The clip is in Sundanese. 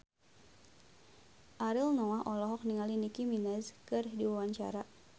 Ariel Noah olohok ningali Nicky Minaj keur diwawancara